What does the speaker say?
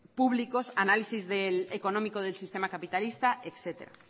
públicos análisis económico del sistema capitalista etcétera